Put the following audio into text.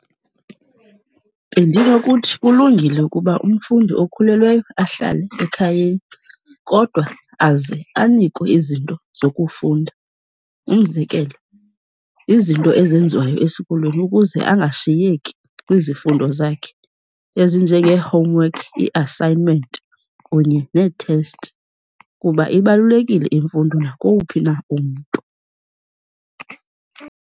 Bendinokuthi kulungile ukuba umfundi okhulelweyo ahlale ekhayeni, kodwa aze anikwe izinto zokufunda. Umzekelo, izinto ezenziwayo esikolweni ukuze angashiyeki kwizifundo zakhe ezinjengee-homework, ii-assignment kunye nee-test kuba ibalulekile imfundo nakowuphi na umntu.